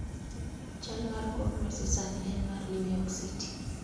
chal mar kor lwasi sani en mar new york city